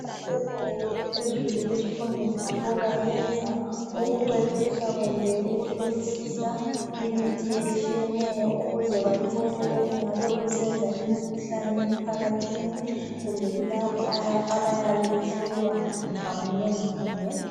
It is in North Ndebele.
Abasezingeni eliphezulu kuzifundo zabo benza ukucwephetsha kumbe ukuhlolisisa imithi etshiyeneyo ukuze bathole okungabe kusenza imikhuhlane emphakathini kumbe kulabo abayabe behlolwa ngamunye ngamunye.